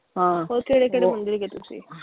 ਹਾਂ, ਹੈਗੇ ਤੁਸੀਂ।